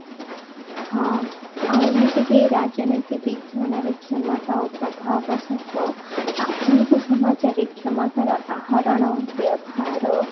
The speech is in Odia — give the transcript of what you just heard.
ହଁ ଆଉ ଏମିତି ରାଜନୀତି ବିଜ୍ଞାନରେ କ୍ଷମତା ଓ ପ୍ରଭାବ ସହ ଆଧୁନିକ ସମାଜରେ କ୍ଷମତା ର ଆହରଣ ବ୍ୟବହାର